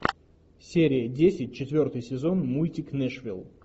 серия десять четвертый сезон мультик нэшвилл